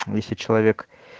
если человек